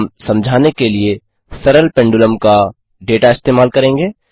हम समझाने के लिए सरल पेंडुलम का डेटा इस्तेमाल करेंगे